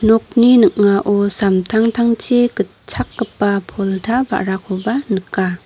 nokni ning·ao samtangtangchi gitchakgipa polta ba·rakoba nika.